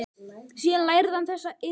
Síðan lærði hann þessa iðn.